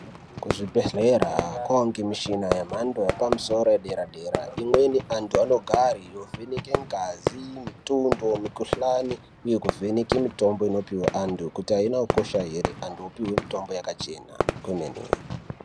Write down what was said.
Kuzvibhedhlera kwava nemichina yemhando yepamusoro soro yedera dera, imweni antu anogare yovheneke ngazi, mitondo, mikohlani uye kuvheneke mitombo inopihwe antu kuti haina kukosha here, antu opihwe mitomba yakachena kwemene.